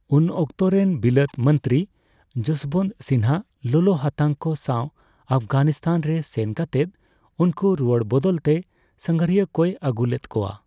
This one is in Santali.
ᱩᱱ ᱚᱠᱛᱚᱨᱮᱱ ᱵᱤᱞᱟᱹᱛ ᱢᱚᱱᱛᱨᱤ ᱡᱚᱥᱵᱚᱱᱛ ᱥᱤᱱᱦᱟ ᱞᱚᱞᱚ ᱦᱟᱛᱟᱝ ᱠᱚ ᱥᱟᱣ ᱟᱯᱷᱜᱟᱱᱤᱥᱛᱷᱟᱱ ᱨᱮ ᱥᱮᱱ ᱠᱟᱛᱮᱫ ᱩᱱᱠᱩ ᱨᱩᱣᱟᱹᱲ ᱵᱚᱫᱚᱞ ᱛᱮ ᱥᱟᱸᱜᱷᱟᱨᱤᱭᱟᱹ ᱠᱚᱭ ᱟᱹᱜᱩ ᱞᱮᱫ ᱠᱚᱣᱟ ᱾